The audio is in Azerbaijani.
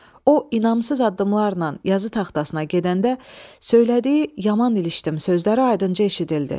O inamsız addımlarla yazı taxtasına gedəndə söylədiyi "yaman ilişdim" sözləri aydınca eşidildi.